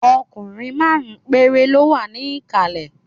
Ọkùnrin márùn-ún péré ló wà ní ìkàlẹ̀